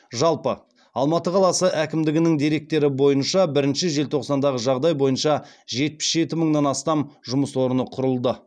жалпы алматы қаласы әкімдігінің деректері бойынша бірінші желтоқсандағы жағдай бойынша жетпіс жеті мыңнан астам жұмыс орны құрылды